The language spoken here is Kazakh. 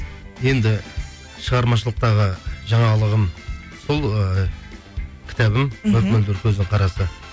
енді шығармашылықтағы жаңалығым сол ы кітабым көздің қарасы